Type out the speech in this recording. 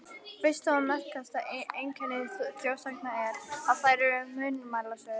Fyrsta og merkasta einkenni þjóðsagna er, að þær eru munnmælasögur.